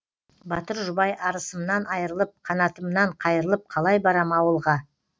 батыр жұбай арысымнан айрылып қанатымнан қайрылып қалай барам ауылға